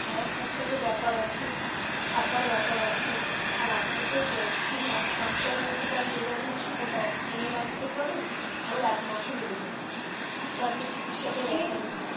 ওটা খাওয়া খরচার ও ব্যাপার আছে থাকার ব্যাপার আছে আর আপনি তো গেছেন এক সপ্তাহের মধ্যে তো হয়ে যাবে না সেটা দশ দিন ও লাগতে পারে আবার এক মাস ও লেগে যেতে পারে একটা আপনি চিকিৎসা তে গেছেন.